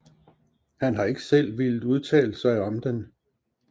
Han har ikke selv villet udtale sig om den